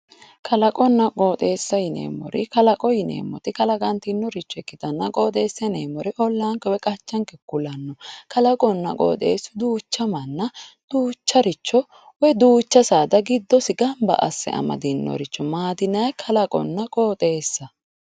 Kalaqonna qoxxeessa yineemmori, kalaqo yineemmoti kalaqatinore ikkittanna qoxxeessa yineemmori ollanke ku'lano kalaqonna qoxxeesu duucha manna duucharicho woyi duucha saada giddosi gamba asse amadinoricho maati yinnanni, kalaqonna qooxeessa.